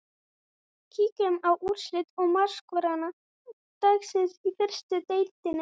Kíkjum á úrslit og markaskorara dagsins í fyrstu deildinni.